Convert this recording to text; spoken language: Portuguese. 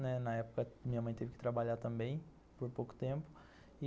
Né, na época, minha mãe teve que trabalhar também, por pouco tempo.